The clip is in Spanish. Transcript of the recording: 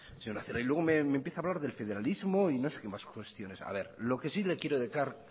señora celaá y luego me empieza a hablar de federalismo y no sé qué más cuestiones a ver lo que sí le quiero dejar